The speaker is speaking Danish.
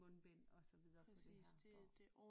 Mundbind og så videre på det her